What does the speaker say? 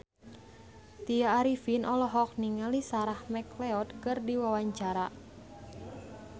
Tya Arifin olohok ningali Sarah McLeod keur diwawancara